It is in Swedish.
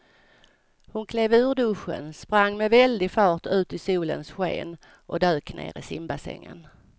Hon klev ur duschen, sprang med väldig fart ut i solens sken och dök ner i simbassängen.